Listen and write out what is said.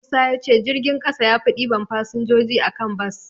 Musa ya ce jirgin ƙasa yafi ɗiban fasinjoji a kan bas.